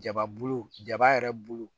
Jaba bulu jaba yɛrɛ bulu